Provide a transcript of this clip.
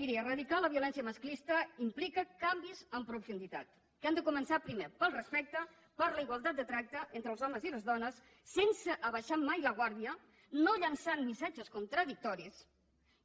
miri eradicar la violència masclista implica canvis en profunditat que han de començar primer pel respecte per la igualtat de tracte entre els homes i les dones sense abaixar mai la guàrdia no llençant missatges contradictoris